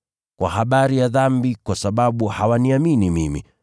Kwa habari ya dhambi, kwa sababu hawaniamini mimi,